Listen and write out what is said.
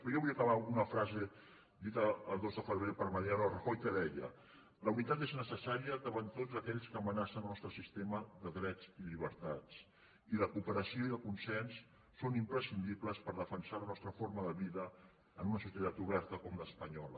però jo vull acabar amb una frase dita el dos de febrer per mariano rajoy que deia la unitat és necessària davant de tots aquells que amenacen el nostre sistema de drets i llibertats i la cooperació i el consens són imprescindibles per defensar la nostra forma de vida en una societat oberta com l’espanyola